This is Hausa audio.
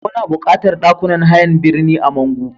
Muna buƙatar ɗakunan hayan birni a Mangu.